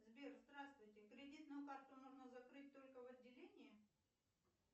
сбер здравствуйте кредитную карту можно закрыть только в отделении